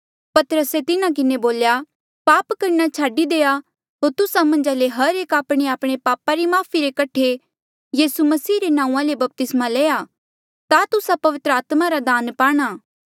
पतरसे तिन्हा किन्हें बोल्या पाप करणा छाडी देआ होर तुस्सा मन्झा ले हर एक आपणेआपणे पापा री माफ़ी रे कठे यीसू मसीहा रे नांऊँआं ले बपतिस्मा लेया ता तुस्सा पवित्र आत्मा रा दान पाणा